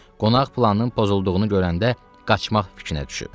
Qonaq planının pozulduğunu görəndə qaçmaq fikrinə düşüb.